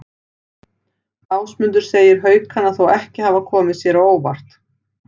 Ásmundur segir Haukana þó ekki hafa komið sér á óvart.